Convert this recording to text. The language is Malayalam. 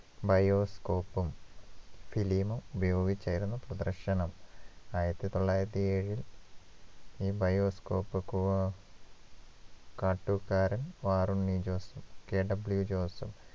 bioscope ഉം film ഉം ഉപയോഗിച്ചായിരുന്നു പ്രദർശനം ആയിരത്തിതൊള്ളായിരത്തിയേഴിൽ ഈ bioscope കുവ കാട്ടൂക്കാരൻ വാറുണ്ണി ജോസും KW ജോസും